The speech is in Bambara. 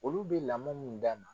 Olu bɛ lamɔ min d'a ma